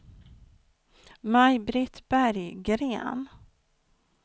Maj-Britt Berggren